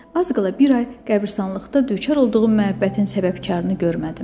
Az qala bir ay qəbiristanlıqda düçar olduğum məhəbbətin səbəbkarını görmədim.